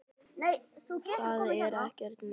Það er ekkert að mér!